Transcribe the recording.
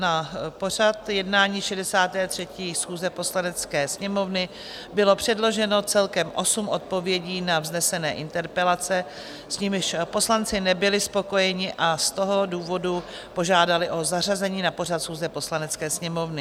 Na pořad jednání 63. schůze Poslanecké sněmovny bylo předloženo celkem osm odpovědí na vznesené interpelace, s nimiž poslanci nebyli spokojeni, a z toho důvodu požádali o zařazení na pořad schůze Poslanecké sněmovny.